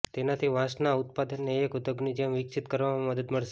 તેનાથી વાંસના ઉત્પાદનને એક ઉદ્યોગની જેમ વિકસિત કરવામાં મદદ મળશે